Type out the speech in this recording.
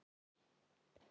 Oft verið á burtu.